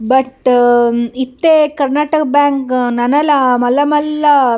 but ಇತ್ತೆ Karnataka bank ನನಲ ಮಲ್ಲ ಮಲ್ಲ --